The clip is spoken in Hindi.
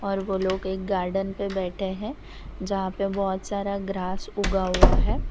ओर वो लोग एक गार्डन पे बैठे हैं जहां पे बहोत सारा ग्रास उगा हुआ है।